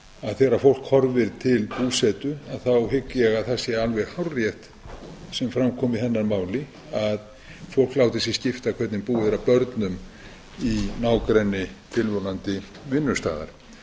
þegar fólk horfir til búsetu hygg ég að það sé alveg hárrétt sem fram kom í hennar máli að fólk láti sig skipta hvernig búið er að börnum í nágrenni tilvonandi vinnustaðar